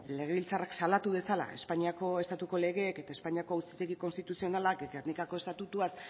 legebiltzarrak salatu dezala espainiako estatuko legeek eta espainiako auzitegi konstituzionalak gernikako estatutuaz